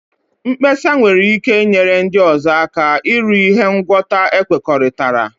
Mkpesa nwere ike inyere ndị ọzọ aka iru ihe ngwọta ekwekọrịtara.